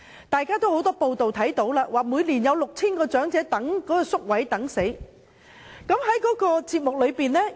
大家也看到很多報道，指每年有 6,000 名長者臨終前也輪候不到宿位。